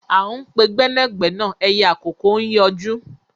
À ń pe gbẹ́nàgbẹ́nà ẹyẹ àkókó ń yọjú